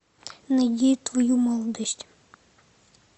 найди твою молодость